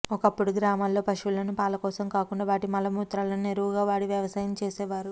ఒకప్పుడు గ్రామాల్లో పశువులను పాలకోసం కాకుండా వాటి మలమూత్రాలను ఎరువుగా వాడి వ్యవసాయం చేసేవారు